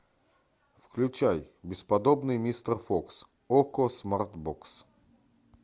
включай бесподобный мистер фокс окко смарт бокс